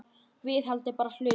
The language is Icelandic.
Viðhald er bara hlutur.